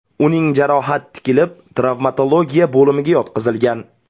Uning jarohat tikilib, travmatologiya bo‘limiga yotqizilgan.